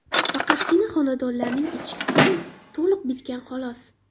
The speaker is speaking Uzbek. Faqatgina xonadonlarning ichki qismi to‘liq bitgan xolos.